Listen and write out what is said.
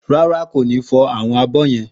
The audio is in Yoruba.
Ràrá, kó nì fọ awọn àbọ yen?